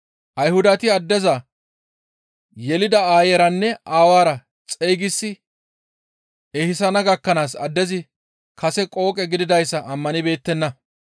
Ayhudati addeza yelida aayeyranne aawara xeygisi ehisana gakkanaas addezi kase qooqe gididayssa ammanibeettenna.